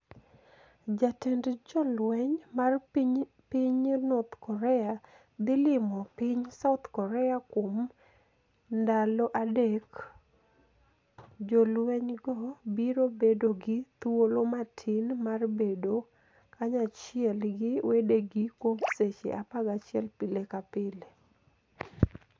jatend jolweniy mar piniy north Korea dhi limo piniy South Korea Kuom nidalo adek, jolweniygo biro bedo gi thuolo matini mar bedo kaniyachiel gi wedegi kuom seche 11 pile ka pile.